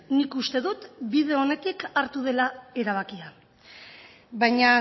nik uste dut bide onetik hartu dela erabakia baina